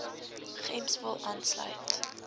gems wil aansluit